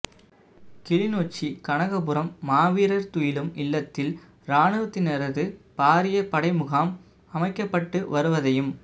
கிளிநொச்சி கனகபுரம் மாவீரர் துயிலும் இல்லத்தில் இராணுவத்தினரது பாரிய படை முகாம் அமைக்கப்பட்டுவருவதையும்